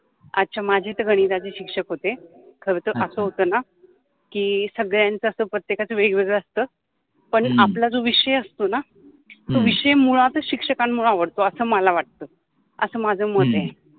अच्छा माझे त गणिताचे शिक्षक होते, खर तर अस होत न कि सगळ्यांच अस प्रत्येकांच अस वेगवेगळ असत पण आपला जो विषय असतो न तो विषय मुळातच शिक्षकान्मुळे आवडतो अस मला वाटतो अस माझ मत आहे.